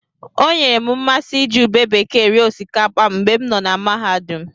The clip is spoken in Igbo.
O nyeere m mmasị iji ube bekee rie osikapa mgbe m nọ mahadum.